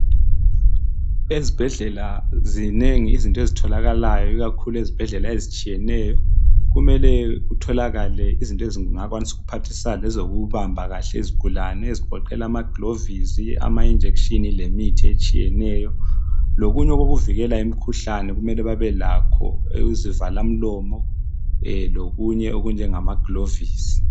Ezibhedlela zinengi izinto ezitholakalayo ikakhulu ezibhedlela ezitshiyeneyo, kumele kutholakale izinto ezingakwanisa ukuphathisa lezokubamba kahle izigulane ezigoqela ama gilovisi ,ama injection lemithi etshiyeneyo, lokunye okukuvikela imikhuhlane kumele babelakho, izivalamlomo, lokunye okunjengama gilovisi